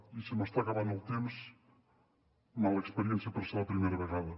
i se m’està acabant el temps mala experiència per ser la primera vegada